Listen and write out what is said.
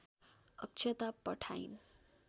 अक्षता पठाइन्